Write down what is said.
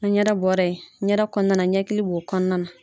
Ni ɲɛda bɔra yen, ɲɛda kɔnɔna ɲɛkili b'o kɔnɔna na